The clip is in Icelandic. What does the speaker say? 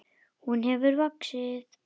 Hún hefur vaxið.